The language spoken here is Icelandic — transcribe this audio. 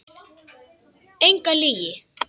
Enga lygi.